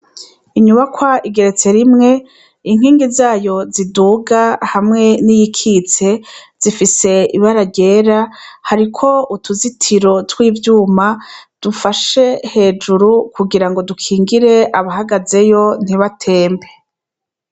Inyubakwa igeretse rimwe inkingi zayo ziduga hamwe n'iyikitse zifise ibararyera hariko utuzitiro tw'ivyuma dufashe hejuru kugira ngo dukingire abahagazeyo ntibatembe.